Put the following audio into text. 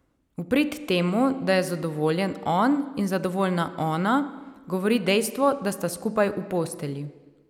V prid temu, da je zadovoljen on in zadovoljna ona, govori dejstvo, da sta skupaj v postelji.